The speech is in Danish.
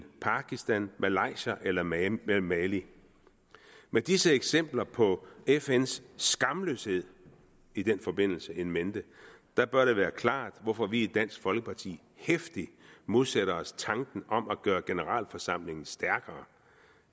pakistan malaysia eller mali med mali med disse eksempler på fns skamløshed i den forbindelse in mente bør det være klart hvorfor vi i dansk folkeparti heftigt modsætter os tanken om at gøre generalforsamlingen stærkere